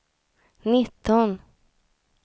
nitton